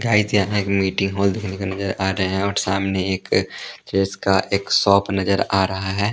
Guys यहाँ एक meeting hall देखने को नजर आ रहे हैं और सामने एक ट्रेस का एक शॉप नजर आ रहा हैं ।